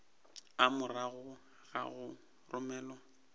a morago ga go romelwa